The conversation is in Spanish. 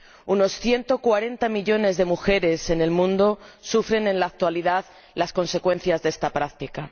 Unos 140 millones de mujeres en el mundo sufren en la actualidad las consecuencias de esta práctica.